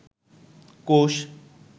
কোষ